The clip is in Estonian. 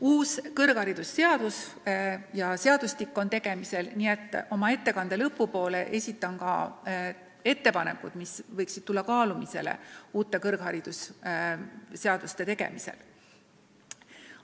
Meie kõrgharidusseadustik on uuendamisel ja oma ettekande lõpus esitan ka ettepanekud, mida võiks uute kõrgharidusseaduste tegemisel kaaluda.